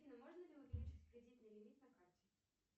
афина можно ли увеличить кредитный лимит на карте